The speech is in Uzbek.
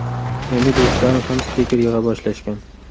Endi do‘stlarim ham stiker yig‘a boshlashgan.